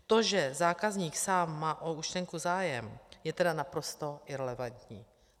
To, že zákazník sám má o účtenku zájem, je tedy naprosto irelevantní.